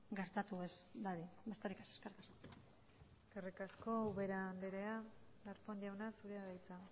gertatu ez dadin besterik ez eskerrik asko eskerrik asko ubera anderea darpón jauna zurea da hitza